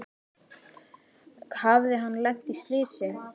Hafði hann lent í slysi?